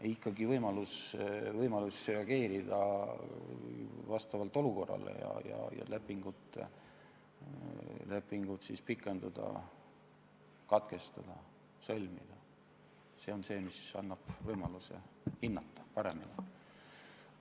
Ei, ikkagi võimalus reageerida olukorrale ja lepingut pikendada, katkestada ja sõlmida on see, mis annab võimaluse paremini hinnata.